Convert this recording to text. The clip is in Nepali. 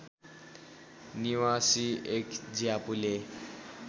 निवासी एक ज्यापुले